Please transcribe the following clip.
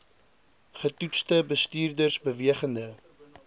getoetste bestuurders bewegende